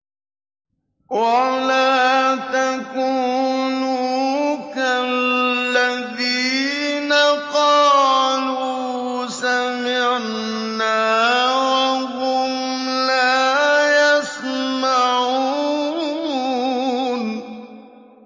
وَلَا تَكُونُوا كَالَّذِينَ قَالُوا سَمِعْنَا وَهُمْ لَا يَسْمَعُونَ